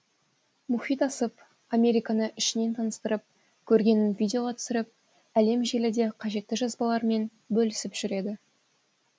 мұхит асып американы ішінен таныстырып көргенін видеоға түсіріп әлемжеліде қажетті жазбаларымен бөлісіп жүреді